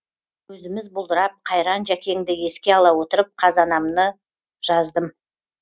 көзіміз бұлдырап қайран жәкеңді еске ала отырып қазанаманы жаздым